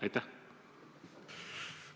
Aitäh!